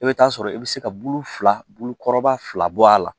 I bɛ taa sɔrɔ i bɛ se ka bulu fila bulukɔrɔba fila bɔ a la